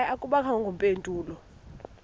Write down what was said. hayi akubangakho mpendulo